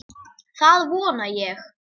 Það vona ég